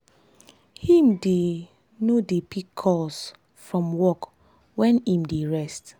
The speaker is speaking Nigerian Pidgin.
him dey dey no dey pick calls from work wen im dey rest.